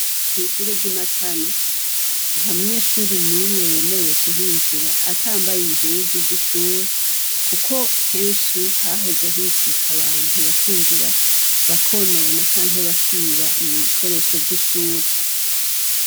Ishure ry'i Matana. Nta munyeshure numwe yemerewe kuhinjira, atambaye impuzu z'ishuri, kuko kenshi hahoze hikika abantu bakinjira, bakonona canke bakiba ibikoresho vy'ishure.